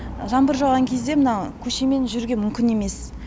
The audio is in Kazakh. жаңбыр жауған кезде мынау көшемен жүруге мүмкін емес